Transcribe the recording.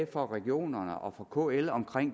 fra regionerne og kl om